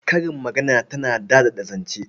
Karin magana tana daɗaɗa zance.